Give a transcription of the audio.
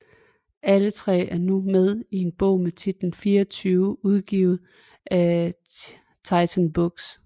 Alle tre er nu med i en bog med titlen 24 udgivet af Titan Books